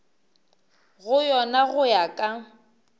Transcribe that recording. go yona go ya ka